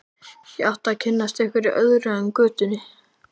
Ég átti að kynnast einhverju öðru en götunni.